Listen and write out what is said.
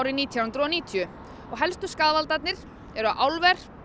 nítján hundruð og níutíu helstu skaðvaldarnir voru álver